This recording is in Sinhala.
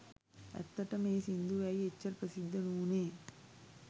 ඇත්තටම ඒ සින්දුව ඇයි එච්චර ප්‍රසිද්ධ නූනේ